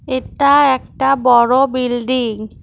এটা একটা বড় বিল্ডিং ।